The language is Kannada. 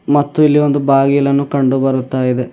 ಮತ್ತು ಇಲ್ಲಿ ಒಂದು ಬಾಗಿಲನ್ನು ಕಂಡು ಬರುತ್ತಾ ಇದೆ.